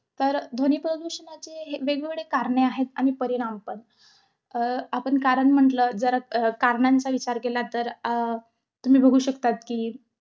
तर, ध्वनिप्रदूषणाचे हे~ वेगवेगळे कारणे आहेत, आणि परिणाम पण. अं आपण कारण म्हंटल, जर अं कारणांचा विचार केला तर, अं तुम्ही बघू शकतात कि,